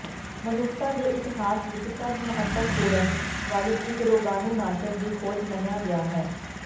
ਮਨੁੱਖਤਾ ਦੇ ਇਤਿਹਾਸ ਵਿਚ ਸਭ ਮਹੱਤਵਪੂਰਨ ਵਾਲੀ ਇਕ ਰੋਗਾਣੂਨਾਸ਼ਕ ਦੀ ਖੋਜ ਮੰਨਿਆ ਗਿਆ ਹੈ